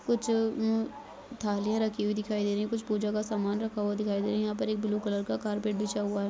कुछ उम्म थालियां रखी हुई दिखाई दे रही है कुछ पूजा का सामान रखा हुआ दिखाई दे रहा है यहाँ पर एक ब्लू कलर का कार्पेट बिछा हुआ है।